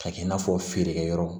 K'a kɛ i n'a fɔ feerekɛyɔrɔ